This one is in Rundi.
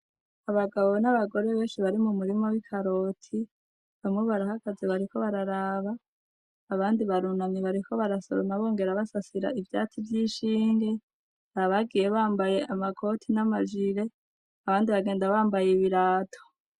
Abagabo n'abagore benshi bari mu murima w'ikaroti ,bamwe barahagaze bariko bararaba abandi barunamye bariko barasoroma bongera basasira ivyatsi vy'ishinge ,abagiye bambaye amakaroti n'amajire ,abandi bagenda bambaye ibirato.